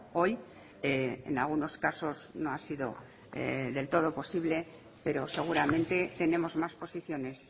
hoy en algunos casos no ha sido del todo posible pero seguramente tenemos más posiciones